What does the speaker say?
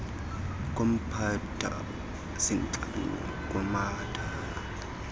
khompyutha zintlanu kumathala